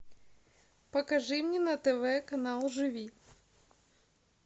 покажи мне на тв канал живи